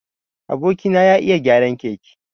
Aboki na ya iya gyaran keke.